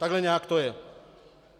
Takhle nějak to je.